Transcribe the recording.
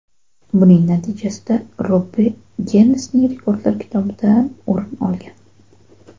Buning natijasida Robbi Ginnesning rekordlar kitobidan o‘rin olgan.